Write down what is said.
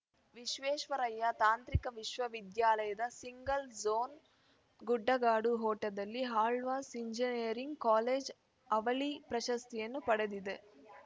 ವಿಶ್ವೇಶ್ವರಯ್ಯ ತಾಂತ್ರಿಕ ವಿಶ್ವವಿದ್ಯಾಲಯದ single zone ಗುಡ್ಡಗಾಡು ಓಟದಲ್ಲಿ ಆಳ್ವಾಸ್ ಇಂಜಿನಿಯರಿಂಗ್ ಕಾಲೇಜು ಅವಳಿ ಪ್ರಶಸ್ತಿಯನ್ನು ಪಡೆದಿದೆ